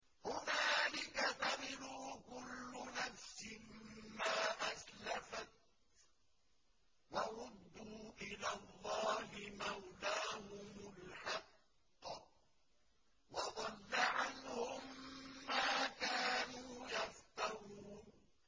هُنَالِكَ تَبْلُو كُلُّ نَفْسٍ مَّا أَسْلَفَتْ ۚ وَرُدُّوا إِلَى اللَّهِ مَوْلَاهُمُ الْحَقِّ ۖ وَضَلَّ عَنْهُم مَّا كَانُوا يَفْتَرُونَ